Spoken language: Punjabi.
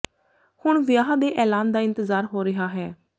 ਹੁਣ ਵਿਆਹ ਦੇ ਐਲਾਨ ਦਾ ਇੰਤਜ਼ਾਰ ਹੋ ਰਿਹਾ ਹੈ